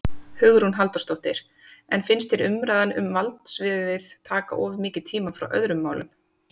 Hugrún Halldórsdóttir: En finnst þér umræðan um valdsviðið taka of mikið tíma frá öðrum málum?